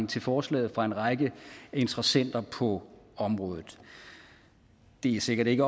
til forslaget fra en række interessenter på området det er sikkert ikke